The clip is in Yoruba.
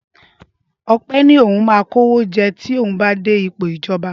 Ọpẹ ní òun náà máa kówó jẹ tí ó bá dé ipò ìjọba.